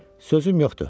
Sözüm yoxdur.